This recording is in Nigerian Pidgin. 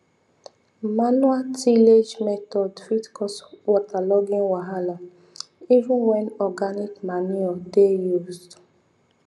manual tillage method fit cause waterlogging wahala even when organic manure dey used